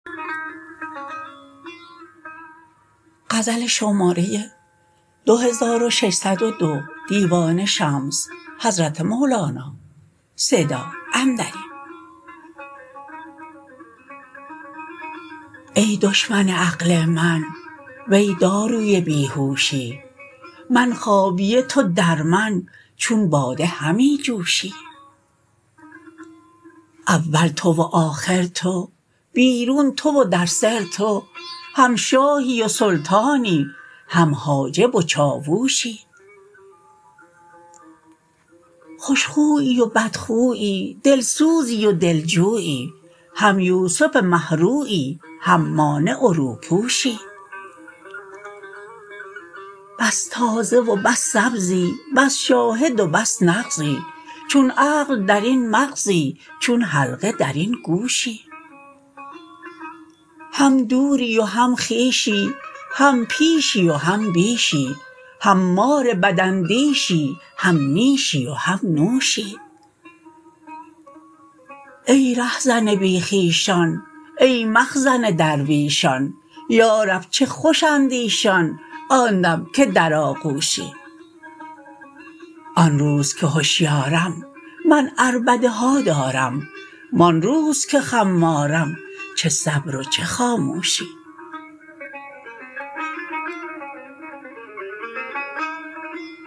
ای دشمن عقل من وی داروی بی هوشی من خابیه تو در من چون باده همی جوشی اول تو و آخر تو بیرون تو و در سر تو هم شاهی و سلطانی هم حاجب و چاووشی خوش خویی و بدخویی دلسوزی و دلجویی هم یوسف مه رویی هم مانع و روپوشی بس تازه و بس سبزی بس شاهد و بس نغزی چون عقل در این مغزی چون حلقه در این گوشی هم دوری و هم خویشی هم پیشی و هم بیشی هم مار بداندیشی هم نیشی و هم نوشی ای رهزن بی خویشان ای مخزن درویشان یا رب چه خوشند ایشان آن دم که در آغوشی آن روز که هشیارم من عربده ها دارم و آن روز که خمارم چه صبر و چه خاموشی